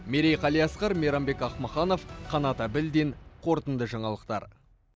мерей қалиасқар мейрамбек ахмаханов канат абильдин қорытынды жаңалықтар